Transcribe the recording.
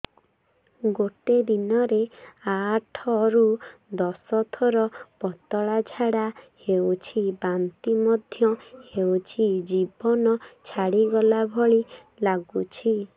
ଗୋଟେ ଦିନରେ ଆଠ ରୁ ଦଶ ଥର ପତଳା ଝାଡା ହେଉଛି ବାନ୍ତି ମଧ୍ୟ ହେଉଛି ଜୀବନ ଛାଡିଗଲା ଭଳି ଲଗୁଛି